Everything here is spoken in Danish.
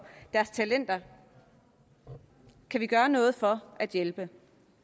deres talenter kan vi gøre noget for at hjælpe